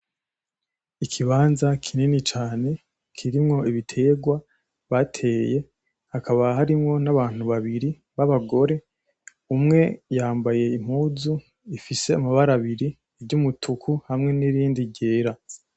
Ikibanza kinini cane kirimwo ibitegwa bateye hakaba harimwo n'abantu babiri babagore umwe yambaye impuzu ifise amabara abiri ry'umutuku hamwe nirindi ryera.